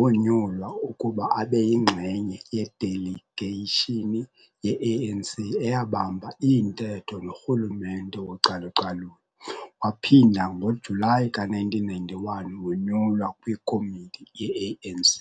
wonyulwa ukuba abeyingxenye yeDeligeyishini yeANC eyabamba iintetho noRhulumente wocalucalulo waphinda ngoJulayi ka1991 wonyulwa kwiKomiti yeANC.